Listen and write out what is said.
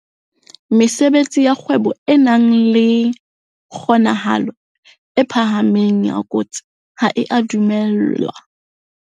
Mesebetsi ya kgwebo e nang le kgonahalo e phahameng ya kotsi ha e a dumellwa.